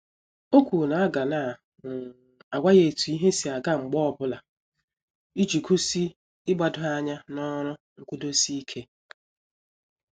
O kwuru na aga na um àgwà ya etu ihe si aga mgbe ọbụla, iji gosi igbado anya n'ọrụ nkwudosi ike.